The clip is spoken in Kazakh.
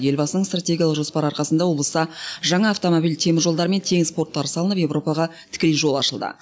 елбасының стратегиялық жоспары арқасында облыста жаңа автомобиль теміржолдар мен теңіз порттары салынып еуропаға тікелей жол ашылды